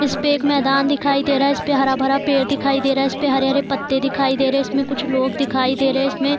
इसपे एक मैदान दिखाई दे रहा इसपे हरा-भरा पेड़ दिखाई दे रहा इसपे हरे-हरे पत्ते दिखाई दे रहे इसमें कुछ लोग दिखाई दे रहे इसमें --